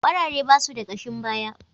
Kwarare ba su da kashin baya.